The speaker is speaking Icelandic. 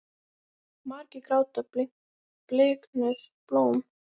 Margir gráta bliknuð blóm.